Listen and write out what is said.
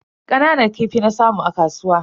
Kananan kifi na samu a kasuwa.